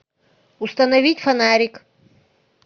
установить фонарик